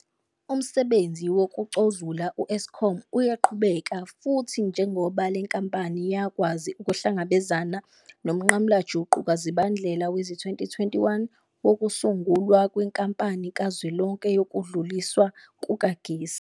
Umsebenzi wokucozula u-Eskom uyaqhubeka, futhi njengoba le nkampani yakwazi ukuhlangabezana nomnqamulajuqu kaZibandlela wezi-2021 wokusungulwa kweNkampani Kazwelonke Yokudluliswa Kukagesi.